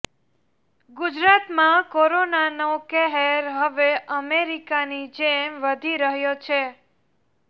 ગુજરાતમાં કોરોનાનો કહેર હવે અમેરિકાની જેમ વધી રહ્યો છે